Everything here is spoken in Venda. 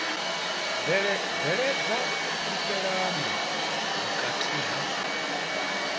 bveledza u fhulufhelana vhukati ha